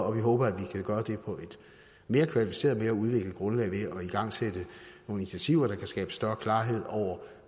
og vi håber at vi kan gøre det på et mere kvalificeret og mere udviklet grundlag ved at igangsætte nogle initiativer der kan skabe større klarhed over